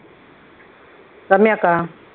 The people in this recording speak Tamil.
ரம்யாவுக்கா?